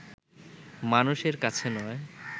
মানুষের কাছে নয়